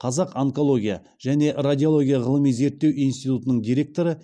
қазақ онкология және радиология ғылыми зерттеу институтының директоры